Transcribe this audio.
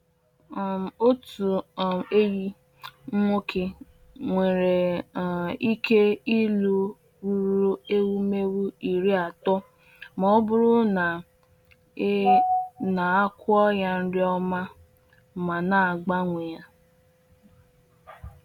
um Otu um ehi nwoke nwere um ike ịlụ ruru ewumewụ iri atọ ma ọ bụrụ na e na-akwọ ya nri ọma ma na-agbanwe ya.